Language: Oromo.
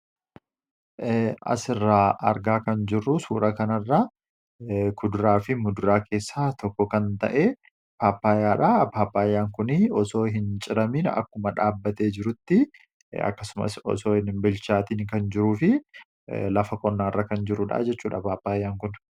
Asirraa argaa kan jiru suuraa kana irraa, kuduraa fi muduraa keessaa tokko kan ta'e paappaayyaa dha. Paappaayyaan kunii osoo hin ciramin akkuma dhaabbatee jirutti akkasumas osoo hin bilchaatiin kan jiruu fi lafa qonnaa irra kan jiruudha jechuudha paappaayyaan kun.